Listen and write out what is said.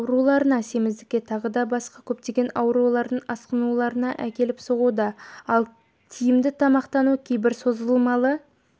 ауруларына семіздікке тағы басқа да көптеген аурулардың асқынуларына әкеліп соғуда ал тиімді тамақтану кейбір созылмалы